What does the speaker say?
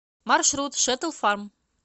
маршрут шэтл фарм